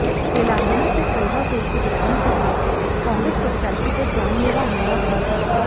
तेलंगाना के कलवा कुर्ती विधानसभा से कांग्रेस प्रत्याशी पर जानलेवा हमला हुआ है